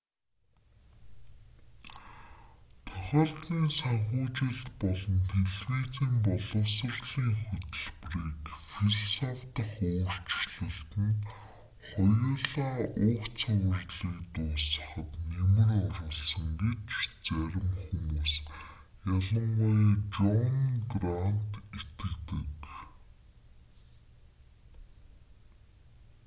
тохиолдлын санхүүжилт болон телевизийн боловсролын хөтөлбөрийн философи дахь өөрчлөлт нь хоёулаа уг цувралыг дуусгахад нэмэр оруулсан гэж зарим хүмүүс ялангуяа жон грант итгэдэг